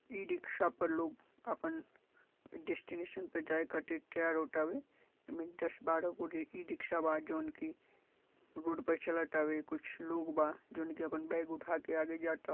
E-rickshaw पर लोग अपन डेशटिनेशन पे जाय खातिर तैयार होतावे एमे दस बारह गो रि.. ई-रिकशा बा जोन की रोड पे चलत आवे कुछ लोग बा जोन की अपन बेग उठाके आगे जाता।